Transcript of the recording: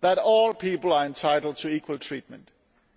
that all people are entitled to equal treatment